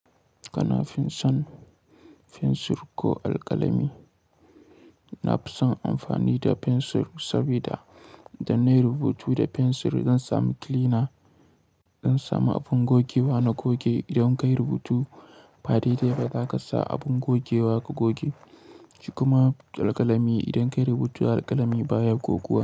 Kana fin son fensir ko alƙalami? Na fi son amfani da fensir saboda idan nayi rubutu da fensir zan sami kilina, zan samu abin gogewa na goge. Idan kayi rubutu ba daidai ba zaka sa abin gogewa ka goge shi. Kuma alƙalami idan kayi rubutu alƙalami baya gogewa.